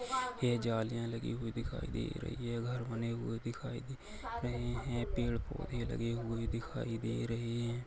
ये जालियां लगी हुई दिखाई दे रही है घर बने हुए दिखाई दे रहे हैं पेड़ पौधे लगे हुए दिखाई दे रहे हैं।